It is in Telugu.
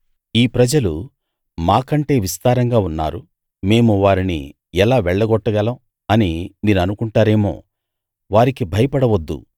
ఈ ప్రజలు మా కంటే విస్తారంగా ఉన్నారు మేము వారిని ఎలా వెళ్లగొట్టగలం అని మీరనుకుంటారేమో వారికి భయపడవద్దు